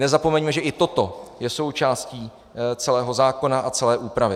Nezapomeňme, že i toto je součástí celého zákona a celé úpravy.